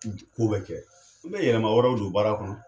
Ki te Ko bɛ kɛ i bɛ yɛlɛma wɛrɛw don baara kɔnɔ